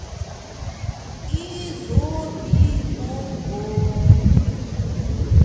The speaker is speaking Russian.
изобильного